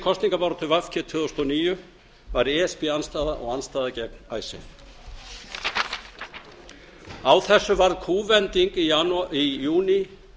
kosningabaráttu v g tvö þúsund og níu var e s b andstaða og andstaða gegn icesave á þessu varð kúvending í júní